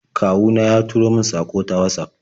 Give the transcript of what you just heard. Kawu na ya turo min saƙo ta Watsaf.